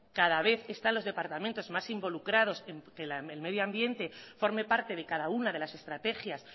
cada vez están los departamentos más involucrados que el medioambiente forme parte de cada una de las estrategias